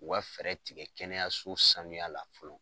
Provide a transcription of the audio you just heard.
U ka fɛɛrɛ tigɛ kɛnɛyaso sanuya la fɔlɔ